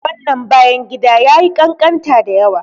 Wannan bayan gidan yayi ƙanƙanta dayawa.